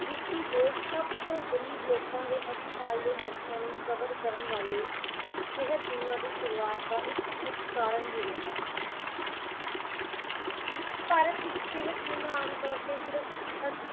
ਸਭ ਤੋਂ ਗਰੀਬ ਲੋਕਾਂ ਨੂੰ ਹਸਪਤਾਲ ਦੇ ਖਰਚਿਆਂ ਨੂੰ ਕਵਰ ਕਰਨ ਵਾਲ਼ੇ ਸਿਹਤ ਬੀਮਾ ਦੀ ਸ਼ੁਰੂਆਤ ਦਾ ਇੱਕ ਮੁੱਖ ਕਾਰਨ ਵੀ ਰਿਹਾ। ਭਾਰਤ ਵਿੱਚ ਸਿਹਤ ਬੀਮਾ ਆਮ ਤੌਰ ਤੇ